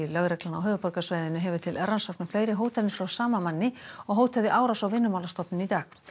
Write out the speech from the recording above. lögreglan á höfuðborgarsvæðinu hefur til rannsóknar fleiri hótanir frá sama manni og hótaði árás á Vinnumálastofnun í dag